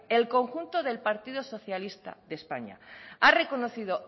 el conjunto del partido socialista de españa ha reconocido